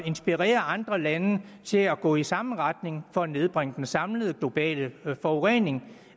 inspirere andre lande til at gå i samme retning for at nedbringe den samlede globale forurening